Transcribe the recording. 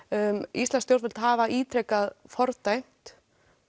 íslensk stjórnvöld hafa ítrekað fordæmt